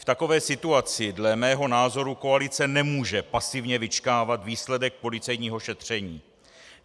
V takové situaci dle mého názoru koalice nemůže pasivně vyčkávat výsledek policejního šetření.